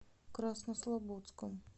краснослободском